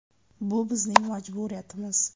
Bu bizning majburiyatimiz.